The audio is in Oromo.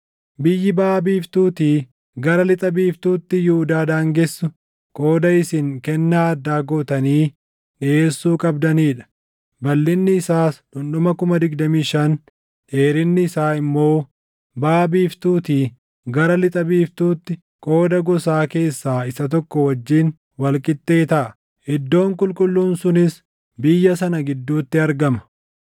“Biyyi baʼa biiftuutii gara lixa biiftuutti Yihuudaa daangessu qooda isin kennaa addaa gootanii dhiʼeessuu qabdanii dha. Balʼinni isaas dhundhuma 25,000, dheerinni isaa immoo baʼa biiftuutii gara lixa biiftuutti qooda gosaa keessaa isa tokko wajjin wal qixxee taʼa; iddoon qulqulluun sunis biyya sana gidduutti argama.